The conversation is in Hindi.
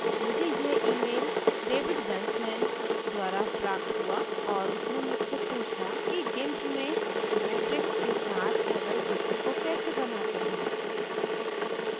मुझे यह email david Vanslen david vansalan द्वारा प्राप्त हुआ और उसने मुझसे पुछा कि gimp में ज्योमेट्रिक्स के साथ सरल चित्र को कैसे बनाते हैं